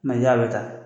i y'a bɛɛ ta